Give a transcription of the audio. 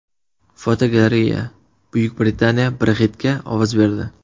Fotogalereya: Buyuk Britaniya Brexit’ga ovoz berdi.